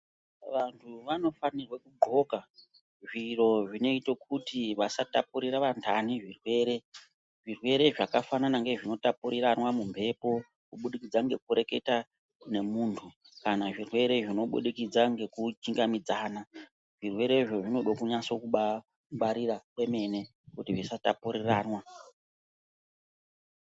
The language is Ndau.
Vanhu vano fanirwe ku ndxoka zviro zvinoite kuti vasa tapurira vandani zvirwere zvirwere zvaka fanana nge zvino tapurirwana mu mhepo kubudikidza ngeku reketa ne muntu kana zvirwere zvino budikidza ngeku chinga midzana zvirwerezvo zvinode kunyase kubai ngwarira kwemene kuti zvisa tapurirwana.